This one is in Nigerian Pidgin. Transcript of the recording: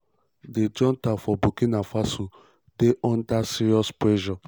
di junta for burkina faso dey under serious serious pressure.